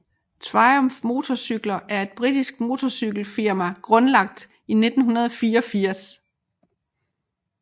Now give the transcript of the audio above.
Triumph motorcykler er et britisk motorcykelfirma grundlagt i 1984